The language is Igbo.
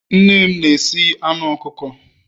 nne m na-esi anu ọkụkọ